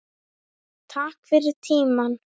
Takk fyrir tímann.